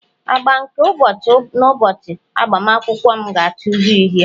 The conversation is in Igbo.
agba nke ụbọchị n'ụbọchị agbamakwụkwọ m ga-acha uhie uhie